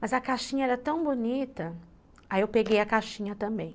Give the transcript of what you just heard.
Mas a caixinha era tão bonita, aí eu peguei a caixinha também.